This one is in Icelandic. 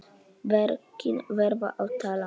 Verkin verða að tala.